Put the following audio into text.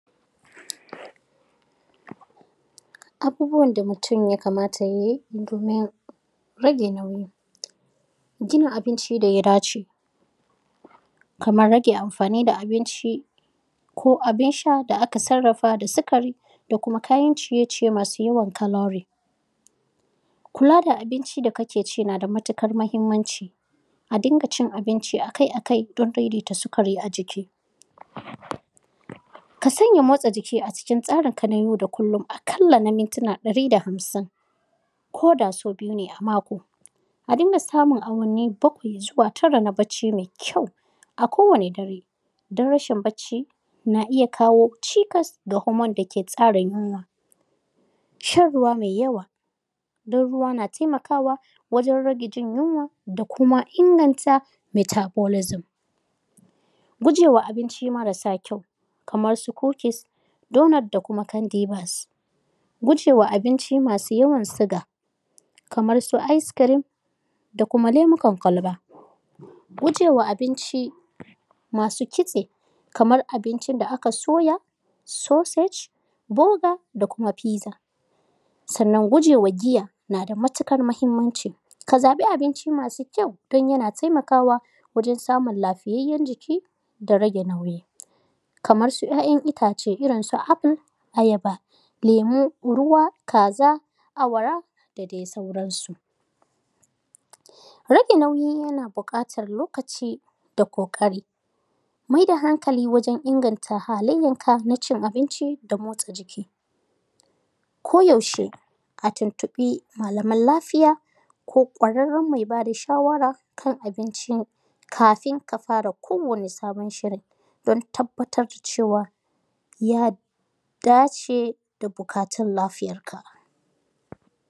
Abubuwan da mutum ya kamata ya yi domin rage nauyi. Gina abinci da ya dace kamar rage amfani da abinci ko abin sha da aka sarrafa da sikari da kuma kayan ciye ciye masu yawan chlorine. Kula da abin da kake ci na da matuƙar muhimmanci. A dinga cin abinci a kai a kai don daidaita sukari a jiki. Ka sanya motsa jiki a cikin tsarinka na yau da kullum a ƙalla na mintuna ɗari da hamsin, ko da sau biyu ne a mako. A dinga samun awanni bakwai zuwa tara na barci mai kyau a kowane dare, don rashin barci na iya kawo cikas ga hormone da ke tsara yunwa. Shan ruwa mai yawa, don ruwa na taimakawa wajen rage yunwa da kuma inganta metabolism. Gujewa abinci marasa kyau kamar su cookies, doughnut da kuma candy vas. Guje wa abinci masu yawan suga kamar su ice cream da kuma lemukan kwalba. Guje wa abinci masu kitse kamar abincin da aka soya, sausage, burger da kuma pizza. Sannan guje wa giya na da matuƙar muhimmanci. Ka zaɓi abinci mai kyau, don yana taimakawa wajen samun lafiyayyaen jiki da rage nauyi, kamar su ‘ya’yan itace irin su apple, ayaba, lemu, ruwa, kaza, awara da dai sauransu. Rage nauyi yana buƙatar lokaci da ƙoƙari. Mai da hankali wajen inganta halayyanka na cin abinci da motsa jiki. Ko yaushe, a tuntuɓi malaman lafiya ko ƙwararren mai ba da shawara kan abinci kafin ka fara kowanne sabon shirin don tabbatar cewa ya dace da buƙatun lafiyarka.